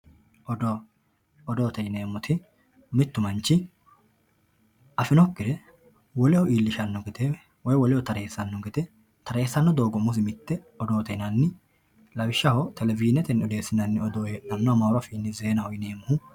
Odoo odoote yienmoti mittu manichi afinokihura woleho iilishano gede woiy woeleho taresano odoote yinani lawisshaho televizinete odeesinani odoo amaaru afiini zeenaho yinemoe.